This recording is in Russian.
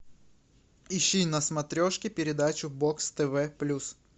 ищи на смотрешке передачу бокс тв плюс